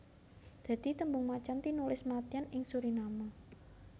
Dadi tembung macan tinulis mâtyân ing Suriname